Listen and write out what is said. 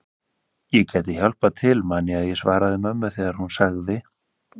Ég gæti hjálpað til man ég að ég svaraði mömmu þegar hún sagði